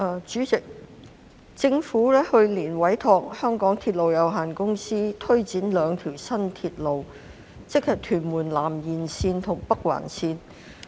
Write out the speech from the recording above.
主席，政府於去年委託香港鐵路有限公司推展兩條新鐵路，即屯門南延線和北環線。